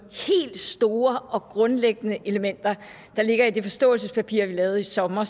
helt store og grundlæggende elementer der ligger i det forståelsespapir vi lavede i sommer